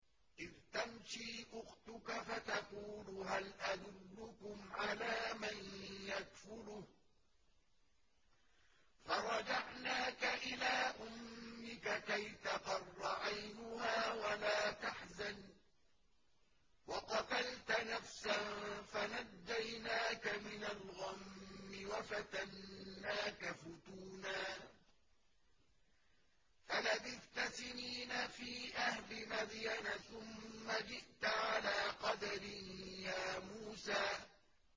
إِذْ تَمْشِي أُخْتُكَ فَتَقُولُ هَلْ أَدُلُّكُمْ عَلَىٰ مَن يَكْفُلُهُ ۖ فَرَجَعْنَاكَ إِلَىٰ أُمِّكَ كَيْ تَقَرَّ عَيْنُهَا وَلَا تَحْزَنَ ۚ وَقَتَلْتَ نَفْسًا فَنَجَّيْنَاكَ مِنَ الْغَمِّ وَفَتَنَّاكَ فُتُونًا ۚ فَلَبِثْتَ سِنِينَ فِي أَهْلِ مَدْيَنَ ثُمَّ جِئْتَ عَلَىٰ قَدَرٍ يَا مُوسَىٰ